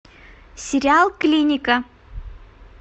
сериал клиника